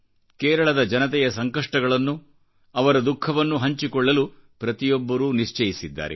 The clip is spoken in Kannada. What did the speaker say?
ಕೇರಳದ ಜನತೆಯ ಸಂಕಷ್ಟಗಳನ್ನು ಅವರ ದುಖಃವನ್ನುಹಂಚಿಕೊಳ್ಳಲು ಪ್ರತಿಯೊಬ್ಬರೂ ನಿಶ್ಚಯಿಸಿದ್ದಾರೆ